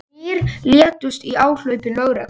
Þrír létust í áhlaupi lögreglu